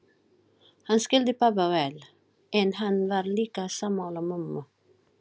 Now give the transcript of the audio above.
Hann skildi pabba vel, en hann var líka sammála mömmu.